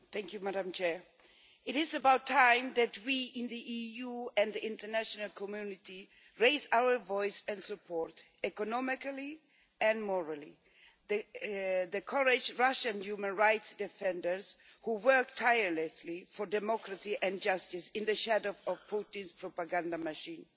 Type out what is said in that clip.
Madam President, it is about time that we in the EU and the international community raised our voice and supported economically and morally the courage of Russian human rights defenders who work tirelessly for democracy and justice in the shadow of Putin's propaganda machine.